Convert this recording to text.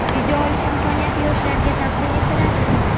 video olish imkoniyati yoshlarga taqdim etiladi.